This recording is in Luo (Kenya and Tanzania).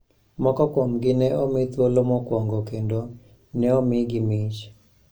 Moko kuomgi ne omi thuolo mokwongo kendo ne omigi mich